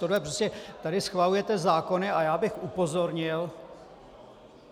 Tohle prostě, tady schvalujete zákony a já bych upozornil...